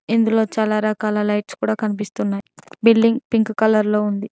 ఇందులో చాలా రకాల లైట్స్ కూడా కనిపిస్తున్నాయ్ బిల్డింగ్ పింక్ కలర్ లో ఉంది.